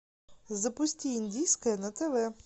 запусти индийское на тв